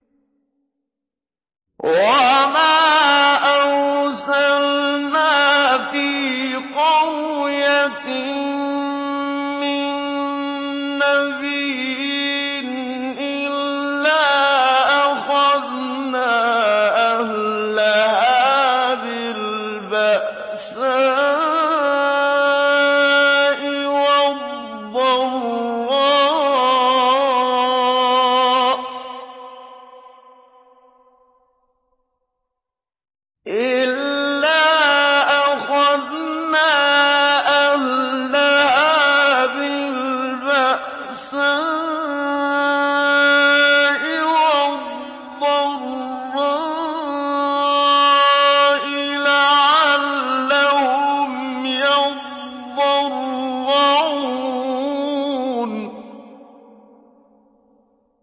وَمَا أَرْسَلْنَا فِي قَرْيَةٍ مِّن نَّبِيٍّ إِلَّا أَخَذْنَا أَهْلَهَا بِالْبَأْسَاءِ وَالضَّرَّاءِ لَعَلَّهُمْ يَضَّرَّعُونَ